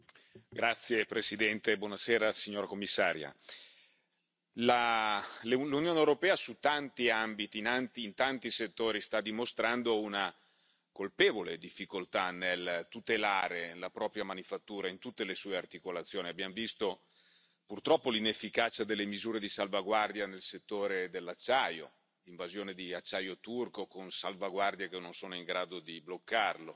Signora Presidente, onorevoli colleghi, signora Commissaria, l'Unione europea su tanti ambiti e in tanti settori sta dimostrando una colpevole difficoltà nel tutelare la propria manifattura, in tutte le sue articolazioni. Abbiamo visto, purtroppo, l'inefficacia delle misure di salvaguardia nel settore dell'acciaio, l'invasione di acciaio turco con salvaguardie che non sono in grado di bloccarlo,